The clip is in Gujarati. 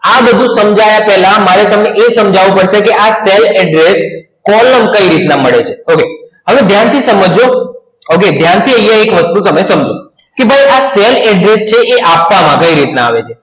આ બધુ સમજયા પેહલા, મારે તમને એ સમજાવું પડસે કૅ આ cell address column કય રીત ના મડે છે okay હવે ધ્યાન થી સમજ જો okay ધ્યાન થી આયા એક વસ્તુ સમજો કૅ ભાઈ આ cell address છે આ આપવામાં કય રીત ના આવે છે